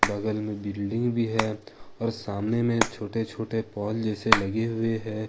बगल में बिल्डिंग भी है और सामने में छोटे छोटे पोल जैसे लगे हुए हैं।